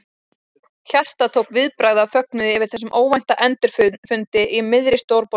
Hjartað tók viðbragð af fögnuði yfir þessum óvænta endurfundi í miðri stórborginni.